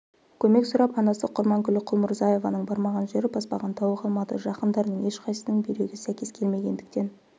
көмек сұрап анасы құрманкүл құлмұрзаеваның бармаған жері баспаған тауы қалмады жақындарының ешқайсысының бүйрегі сәйкес келмегендіктен